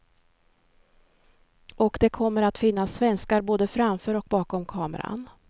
Och det kommer att finnas svenskar både framför och bakom kameran.